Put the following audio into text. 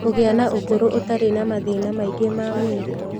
Kũgĩa na ũkũrũ ũtarĩ na mathĩna maingĩ ma mwĩrĩ